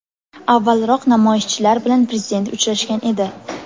Avvalroq namoyishchilar bilan prezident uchrashgan edi.